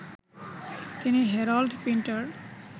তিনি Harold Pinter